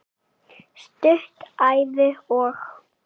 Stutt Ævi- og